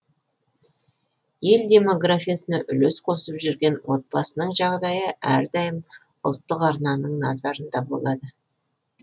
ел демографиясына үлес қосып жүрген отбасының жағдайы әрдайым ұлттық арнаның назарында болады